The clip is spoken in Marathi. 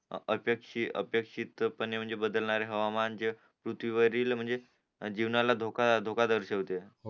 अपेक्षी अपेक्षीत पने म्हणजे बदलणारे हवामान जे पृथ्वीवरील म्हणजे जीवनाला धोका धोका दर्शिवते